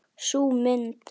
Sú mynd.